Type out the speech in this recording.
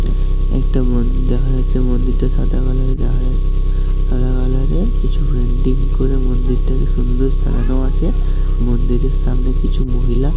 একটা মন্দির দেখা যাচ্ছে মন্দিরটা সাদা কালার এর দেখা যাচ-- সাদা কালার এর কিছু পেন্টিং করে মন্দিরটাকে সুন্দর সাজানো আছে মন্দিরের সামনে কিছু মহিলা--